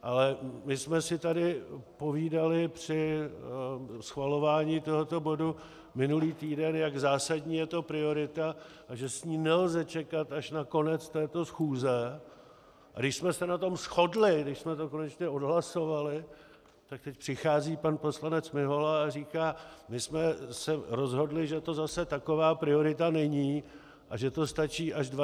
Ale my jsme si tady povídali při schvalování tohoto bodu minulý týden, jak zásadní je to priorita a že s ní nelze čekat až na konec této schůze, a když jsme se na tom shodli, když jsme to konečně odhlasovali, tak teď přichází pan poslanec Mihola a říká: My jsme se rozhodli, že to zase taková priorita není a že to stačí až 12. února.